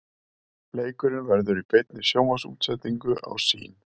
Leikurinn verður í beinni sjónvarpsútsendingu á Sýn.